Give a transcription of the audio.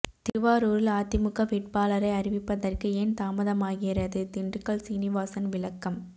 திருவாரூரில் அதிமுக வேட்பாளரை அறிவிப்பதற்கு ஏன் தாமதமாகிறது திண்டுக்கல் சீனிவாசன் விளக்கம்